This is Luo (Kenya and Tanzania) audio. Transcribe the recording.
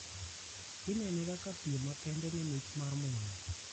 Inene kaka piem makende ne mich mar mula.